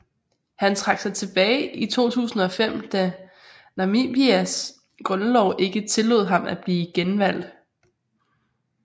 Han trak sig tilbage i 2005 da Namibias grundlov ikke tillod ham at blive genvalgt